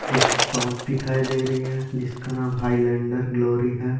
एक शॉप दिखाई दे रही है जिसका नाम हाईलँडर ग्लोरी है।